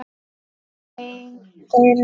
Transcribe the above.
Ein vera.